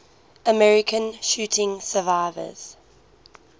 american shooting survivors